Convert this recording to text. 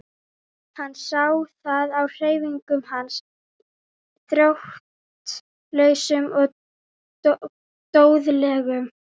Hann sá það á hreyfingum hans, þróttlausum og doðalegum.